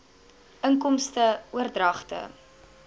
inkomste oordragte